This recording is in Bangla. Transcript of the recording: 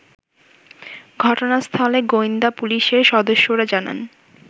ঘটনাস্থলে গোয়েন্দা পুলিশের সদস্যরা জানান